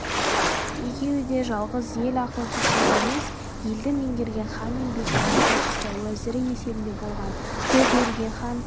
екеуі де жалғыз ел ақылшысы емес елді меңгерген хан мен бектің ақылшысы уәзірі есебінде болған көп елге хан